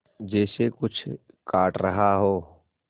जैसे कुछ काट रहा हो